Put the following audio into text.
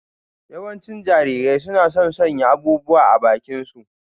Yawancin Jarirai suna son sanya abubuwa a bakinsu.